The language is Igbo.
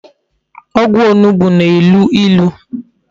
Ogwu onugbu na-elu ilu